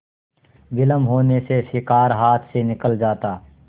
विलम्ब होने से शिकार हाथ से निकल जाता